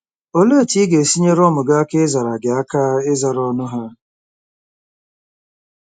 Olee otú ị ga-esi nyere ụmụ gị aka ịzara gị aka ịzara ọnụ ha?